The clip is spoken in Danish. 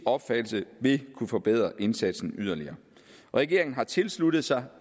opfattelse vil kunne forbedre indsatsen yderligere regeringen har tilsluttet sig